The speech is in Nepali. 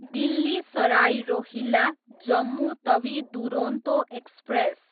दिल्ली सराई रोहिल्ला, जम्मु तवी दुरोन्तो एक्सप्रेस